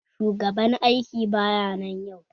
Shugaban aiki baya nan yau